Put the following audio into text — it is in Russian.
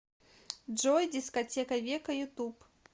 джой дискотека века ютуб